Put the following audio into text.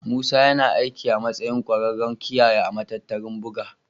Musa yana aiki a matsayin ƙwararren kiyaye a matattarar buga.